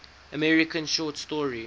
american short story